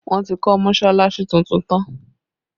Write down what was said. Wọn ti kọ́ mọsalasi tuntun tán